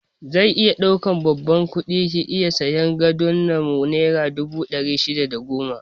Zai iya ɗaukan babban kudi ki iya sayan gadon nan naira dubu ɗari shida da goma sha biyar